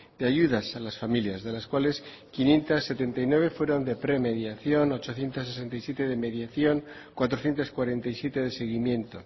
de ayudas a las familias de las cuales quinientos setenta y nueve fueron de premediación ochocientos setenta y siete de mediación cuatrocientos cuarenta y siete de seguimiento